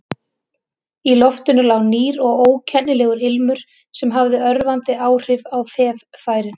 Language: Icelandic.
Í loftinu lá nýr og ókennilegur ilmur sem hafði örvandi áhrif á þeffærin.